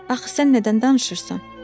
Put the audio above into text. Axı sən nədən danışırsan?